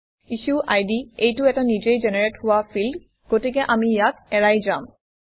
IssueId টো এটা নিজে জেনেৰেট হোৱা ফিল্ড গতিকে আমি ইয়াক এৰাই যাম